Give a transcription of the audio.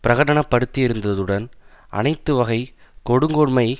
பிரகடன படுத்தியிருந்ததுடன் அனைத்து வகை கொடுங்கோன்மை